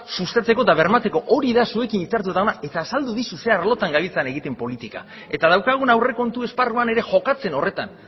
sustatzeko eta bermatzeko hori da zuekin hitzartuta dagoena eta azaldu dizut zein arlotan gabiltzan egiten politika eta daukagun aurrekontu esparruan ere jokatzen horretan